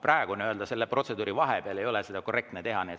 Praegu, nii-öelda selle protseduuri vahepeal ei ole korrektne seda teha.